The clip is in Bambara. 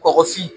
Kɔkɔfin